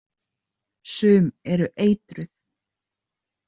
Sum eru eitruð.